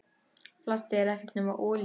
Plastið er ekkert nema olía.